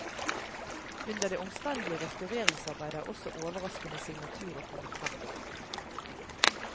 Under det omstendelige restaureringsarbeidet er også overraskende signaturer kommet frem.